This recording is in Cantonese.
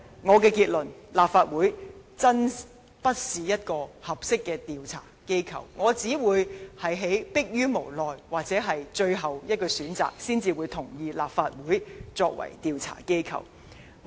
我的結論是，立法會真的並非合適的調查機構，我只會在逼於無奈或最後的選擇，才會同意以立法會作為調查機構。